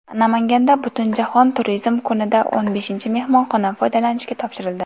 Namanganda Butunjahon turizm kunida o‘n beshinchi mehmonxona foydalanishga topshirildi.